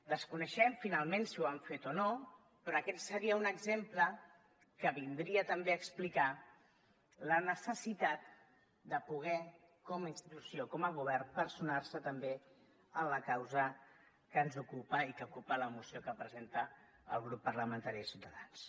desconeixem finalment si ho han fet o no però aquest seria un exemple que vindria també a explicar la necessitat de poder com a institució com a govern personar se també en la causa que ens ocupa i que ocupa la moció que presenta el grup parlamentari de ciutadans